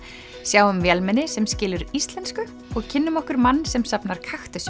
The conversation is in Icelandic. sjáum vélmenni sem skilur íslensku og kynnum okkur mann sem safnar